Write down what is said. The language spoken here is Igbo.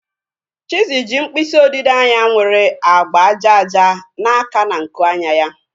Chizzy ji mkpịsị odide anya nwere agba aja aja na-aka na nku anya ya